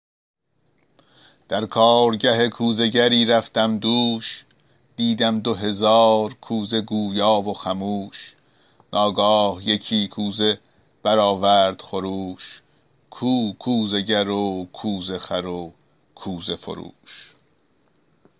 در کارگه کوزه گری رفتم دوش دیدم دو هزار کوزه گویا و خموش ناگاه یکی کوزه برآورد خروش کو کوزه گر و کوزه خر و کوزه فروش